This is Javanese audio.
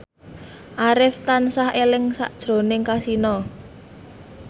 Arif tansah eling sakjroning Kasino